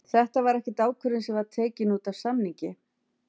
Þetta var ekkert ákvörðun sem var tekin útaf samningi?